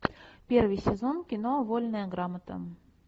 первый сезон кино вольная грамота